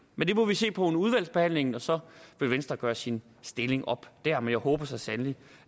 men det må vi se på under udvalgsbehandlingen og så vil venstre gøre sin stilling op der men jeg håber så sandelig